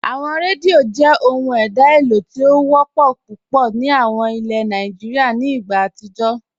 Awọn rẹ́díò jẹ́ ọhun èdá eléo ti o wọpọ́ púpọ̀ ni awọn ìlẹ̀ Nàìjíríà nì ìgbà àtijó.